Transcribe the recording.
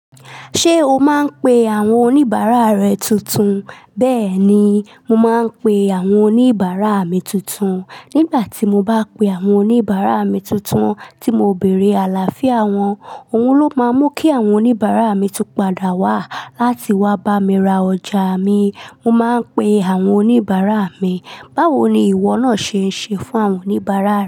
Ṣé o máa ń pe àwọn oníbàárà rẹ tuntun? Bẹ́ẹ̀ni, mo máa ń pe àwọn oníbàárà mi tuntun. Nígbà tí mo bá pe àwọn oníbàárà mi tuntun tí mo béèrè àlàáfíà wọn, òun ló máa mú kí àwọn oníbàárà mi tú padà wá láti wá bá mi ra ọjà mi. Mo máa ń pe àwọn oníbàárà mi. Báwo ni ìwọ náà ṣe ń ṣe fún àwọn oníbàárà rẹ?